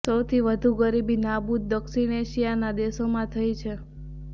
સૌથી વધુ ગરીબી નાબૂદી દક્ષિણ એશિયાના દેશોમાં થઈ છે